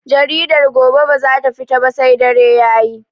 Jaridar gobe bazata fita ba sai dare Yayi